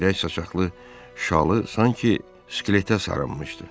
Seyrək saçaqlı şalı sanki skeletə sarınmışdı.